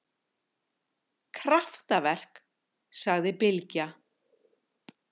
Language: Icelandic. Kraftaverk, sagði Bylgja.